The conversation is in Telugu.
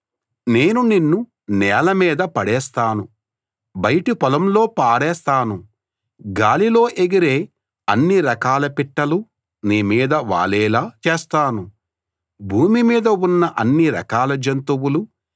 నేను నిన్ను నేల మీద పడేస్తాను బయటి పొలంలో పారేస్తాను గాలిలో ఎగిరే అన్ని రకాల పిట్టలు నీ మీద వాలేలా చేస్తాను భూమి మీద ఉన్న అన్ని రకాల జంతువులు నీ మాంసాన్ని కడుపారా తింటాయి